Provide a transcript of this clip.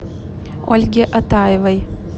ольге атаевой